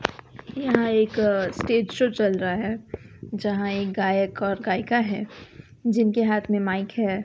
यहां एक stage show चल रहा है जहां एक गायक और गायिका हैं जिनके हाथ में माइक है।